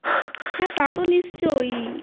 হ্যাঁ তাতো নিশ্চয়ই